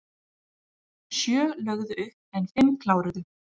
Sjö lögðu upp en fimm kláruðu